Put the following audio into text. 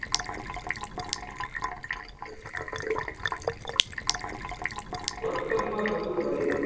વર્તન માં થતું પરિવર્તન